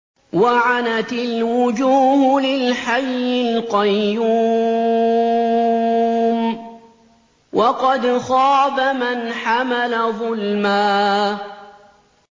۞ وَعَنَتِ الْوُجُوهُ لِلْحَيِّ الْقَيُّومِ ۖ وَقَدْ خَابَ مَنْ حَمَلَ ظُلْمًا